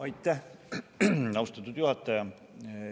Aitäh, austatud juhataja!